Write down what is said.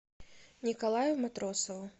николаю матросову